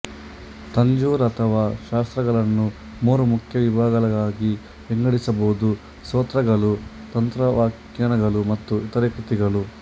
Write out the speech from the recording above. ತಂಜೂರ್ ಅಥವಾ ಶಾಸ್ತ್ರಗಳನ್ನು ಮೂರು ಮುಖ್ಯ ವಿಭಾಗಗಳಾಗಿ ವಿಂಗಡಿಸಬಹುದು ಸ್ತೋತ್ರಗಳು ತಂತ್ರವ್ಯಾಖ್ಯಾನಗಳು ಮತ್ತು ಇತರ ಕೃತಿಗಳು